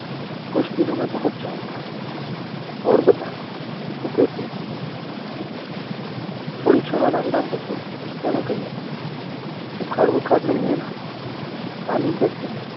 કુછ દિનો મેં મેં પહુચ જાઉંગા ઔર બતા ટુ કેસી હૈ થોડી ક્ષણો ના વિરામ પછી તેને કહ્યું બુખાર વુખાર તો નહી હૈ ના રાની કૈસી હૈ